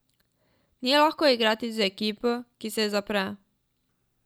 Ni lahko igrati z ekipo, ki se zapre.